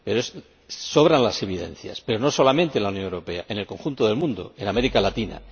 pero sobran las evidencias, y no solamente en la Unión Europea, sino en el conjunto del mundo, en América Latina.